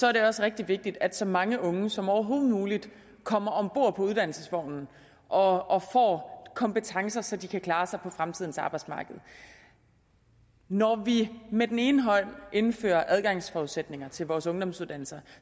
er det også rigtig vigtigt at så mange unge som overhovedet muligt kommer om bord på uddannelsesvognen og får kompetencer så de kan klare sig på fremtidens arbejdsmarked når vi med den ene hånd indfører adgangsforudsætninger til vores ungdomsuddannelser